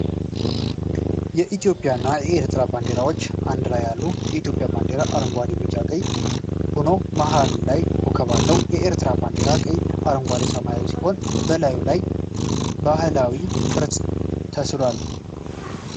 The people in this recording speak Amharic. የኢትዮጵያና የኤርትራ ባንዲራዎች በአንድ ላይ አሉ። የኢትዮጵያ ባንዲራ አረንጓዴ፣ ቢጫና ቀይ ሆኖ መሀል ላይ ኮከብ አለው። የኤርትራው ባንዲራም ቀይ፣ አረንጓዴና ሰማያዊ ሲሆን፣ በላዩ ላይ ባህላዊ ቅርፅ ተስሏል።